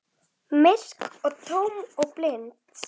Myrk og tóm og blind.